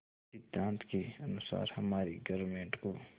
इस सिद्धांत के अनुसार हमारी गवर्नमेंट को